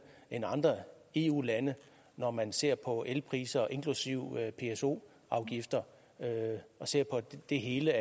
end andre eu lande når man ser på elpriser inklusive pso afgifter og ser på det hele